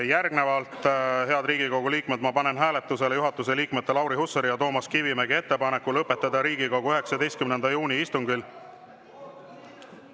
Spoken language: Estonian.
Järgnevalt, head Riigikogu liikmed, panen hääletusele juhatuse liikmete Lauri Hussari ja Toomas Kivimägi ettepaneku lõpetada Riigikogu 19. juuni istungil …